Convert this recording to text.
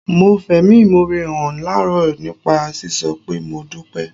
Mo fẹ̀mí ìmoore hàn láàárọ̀ nípa sísọ pé "Mo dúpẹ́"